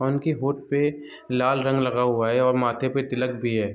और इनकी होंठ पे लाल रंग लगा हुआ है और माथे पर तिलक भी है।